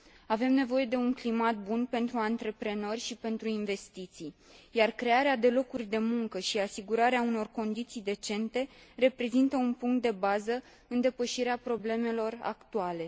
Avem nevoie de un climat bun pentru antreprenori și pentru investiții, iar crearea de locuri de muncă și asigurarea unor condiții decente reprezintă un punct de bază în depășirea problemelor actuale.